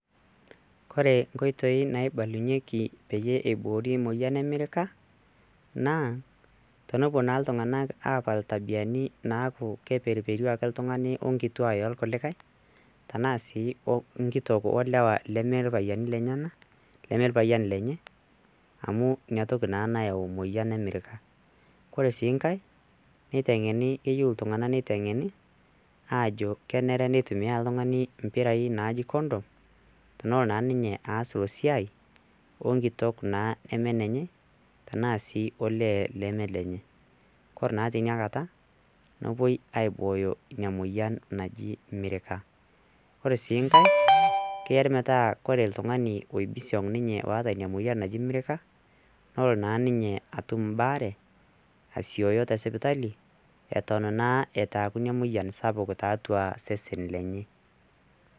kore nkoitoi naibalunyieki peyie eiboori emoyian emirika naa tonopuo naa iltung'anak apal tabiani naaku keperuperu ake ltung'ani onkituak elkulikae tanaa sii nkitok olewa leme ilpayiani lenyenak, leme lpyian lenye iniatoki naa nayau moyian emirika kore siinkae neiteng'eni, keyieu iltung'ana neiteng'eni ajo kenere nitumia iltung'ani mpirai condom tenolo naa ninye aas ilo siai onkitok naa neme enenye tenaa sii olee leme olenye kore naa tinia kata nepoi aibooyo inia moyian naji mirika ore sii nkae keare metaa ore ltung'ani oibisiong ninye oota inia moyian naji mirika nolo naa ninye atum mbaare asioyo tesipitali eton naa etaku inia moyian sapuk taatua sesen lenye.